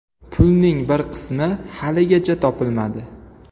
Pulning bir qismi haligacha topilmadi.